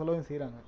சொல்லவும் செய்யறாங்க